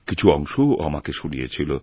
কিছু অংশও আমাকে ওশুনিয়েছিল